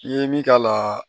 I ye min k'a la